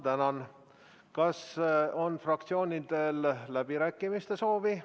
Määran muudatusettepanekute esitamise tähtajaks k.a 4. märtsi kell 17.15.